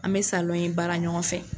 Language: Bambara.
An bɛ salon in baara ɲɔgɔn fɛ.